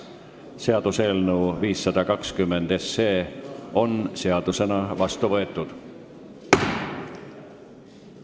Seaduseelnõu 520 on seadusena vastu võetud.